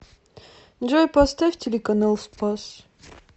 джой поставь телеканал спас